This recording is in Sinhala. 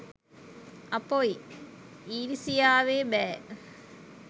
අපොයි ඊරිසියාවේ බෑ